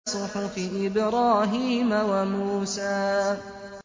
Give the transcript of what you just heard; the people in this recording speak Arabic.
صُحُفِ إِبْرَاهِيمَ وَمُوسَىٰ